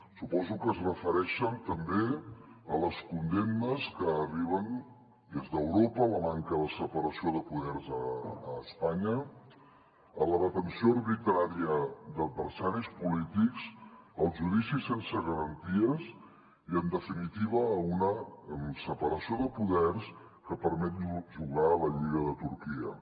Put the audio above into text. su·poso que es refereixen també a les condemnes que arriben des d’europa a la manca de separació de poders a espanya a la detenció arbitrària d’adversaris polítics als judicis sense garanties i en definitiva a una separació de poders que permet jugar la lliga de turquia